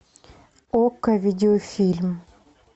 окко видеофильм